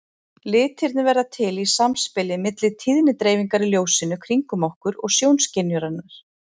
Litirnir verða til í samspili milli tíðnidreifingar í ljósinu kringum okkur og sjónskynjunarinnar.